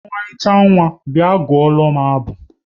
Ọmarịcha nwa, bịa gụọla abụ!